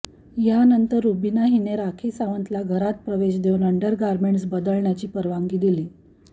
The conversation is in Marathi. यानंतर रुबिना हिने राखी सावंतला घरात प्रवेश देऊन अंडरगारमेंट्स बदलण्याची परवानगी दिली